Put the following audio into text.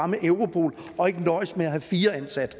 med europol og ikke nøjes med at have fire ansatte